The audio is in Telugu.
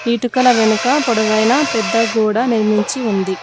ఇటుకల వెనుక పొడవైన పెద్ద గోడ నిర్మించి ఉంది.